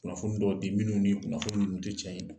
Kunnafoni dɔw di minnu ni kunnafoni te cɛ in na.